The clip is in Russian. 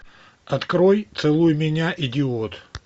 открой целуй меня идиот